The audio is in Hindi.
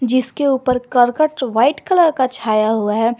जिसके ऊपर करकट व्हाइट कलर का छाया हुआ है।